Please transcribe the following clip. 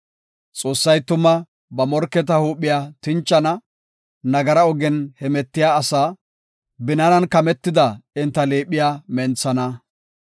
Xoossay tuma ba morketa huuphiya tinchana; nagara ogen hemetiya asa, binaanan kametida enta liiphiya menthana.